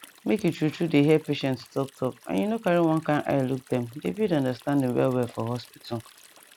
make you truetrue dey hear patients talk talk and you no carry one kind eye look dem dey build understanding well well for hospital